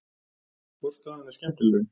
Hvor staðan er skemmtilegri?